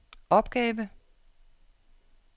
opgave